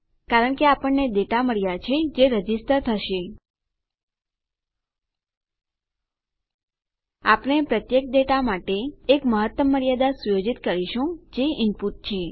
કારણ કે આપણને ડેટા મળ્યા છે જે રજીસ્ટર થશે આપણે પ્રત્યેક ડેટા માટે એક મહત્તમ મર્યાદા સુયોજિત કરીશું જે ઇનપુટ છે